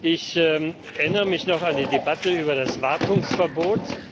Ich erinnere mich noch an die Debatte über das Wartungsverbot.